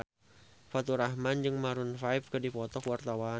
Faturrahman jeung Maroon 5 keur dipoto ku wartawan